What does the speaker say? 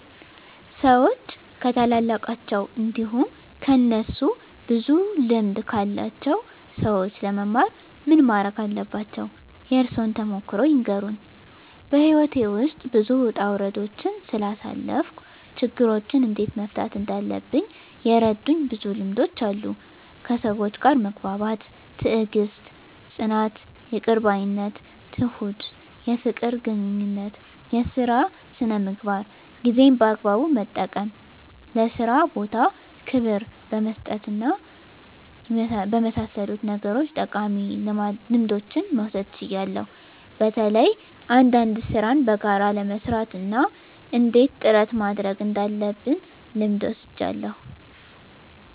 ሰዎች ከታላላቃቸው እንዲሁም ከእነሱ ብዙ ልምድ ካላቸው ሰዎች ለመማር ምን ማረግ አለባቸው? የእርሶን ተሞክሮ ይንገሩን? *በሕይወቴ ውስጥ ብዙ ውጣ ውረዶችን ስላሳለፍኩ፣ ችግሮችን እንዴት መፍታት እንዳለብኝ የረዱኝ ብዙ ልምዶች አሉ፤ ከሰዎች ጋር መግባባት፣ ትዕግስት፣ ጽናት፣ ይቅር ባይነት፣ ትሁት፣ የፍቅር ግንኙነት፣ የሥራ ሥነ ምግባር፣ ጊዜን በአግባቡ መጠቀም፣ ለሥራ ቦታ ክብር በመስጠትና በመሳሰሉት ነገሮች ጠቃሚ ልምዶችን መውሰድ ችያለሁ። በተለይ አንዳንድ ሥራን በጋራ ለመሥራት እና እንዴት ጥረት ማድረግ እንዳለብ ልምድ ወስጃለሁ።